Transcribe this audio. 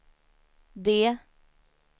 D